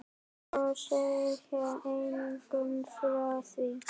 Og segja engum frá því.